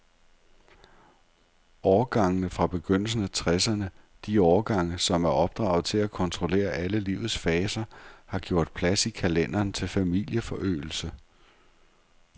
Årgangene fra begyndelsen af tresserne, de årgange, som er opdraget til at kontrollere alle livets faser, har gjort plads i kalenderen til familieforøgelse.